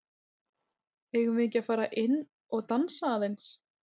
Eigum við ekki að fara inn og dansa aðeins?